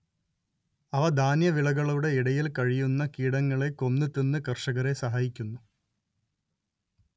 അവ ധാന്യവിളകളുടെ ഇടയിൽ കഴിയുന്ന കീടങ്ങളെ കൊന്ന് തിന്ന് കർഷകരെ സഹായിക്കുന്നു